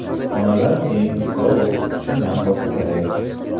Xonalar keng, yorug‘, shinam va qulay.